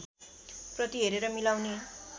प्रति हेरेर मिलाउने